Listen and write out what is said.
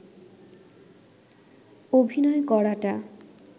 অভিনয় করাটা